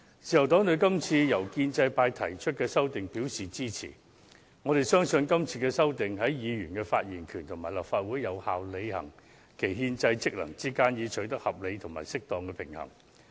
自由黨對於今次由建制派提出的修訂表示支持，是因為我們相信今次的修訂，已在保障議員發言權及立法會有效履行其憲制職能之間，取得合理而適當的平衡。